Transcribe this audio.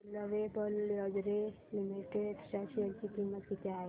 आज lovable lingerie limited च्या share ची किंमत किती आहे